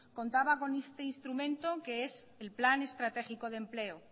contaba con este instrumento que es el plan estratégico de empleo